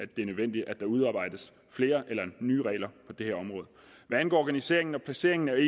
det er nødvendigt at der udarbejdes flere eller nye regler på det her område hvad angår organiseringen og placeringen af